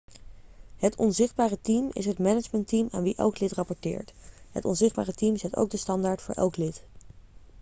het onzichtbare team' is het managementteam aan wie elk lid rapporteert het onzichtbare team zet ook de standaard voor elk lid